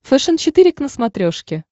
фэшен четыре к на смотрешке